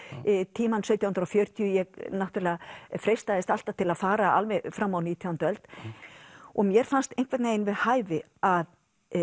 tímann sautján hundruð og fjörutíu ég náttúrulega freistaðist alltaf til að fara alveg fram á nítjándu öld og mér fannst einhvern veginn við hæfi að